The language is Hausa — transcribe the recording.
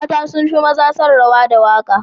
Mata sun fi maza son rawa da waka.